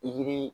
Pikiri